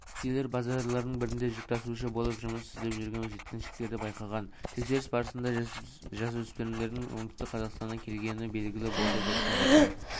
полицейлер базарлардың бірінде жүк тасушы болып жұмыс істеп жүрген жеткіншектерді байқаған тексеріс барысында жасөспірімдердің оңтүстік қазақстаннан келгені белгілі болды деп хабарлайды